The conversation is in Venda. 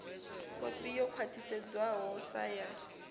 kopi yo khwathisedzwaho sa ya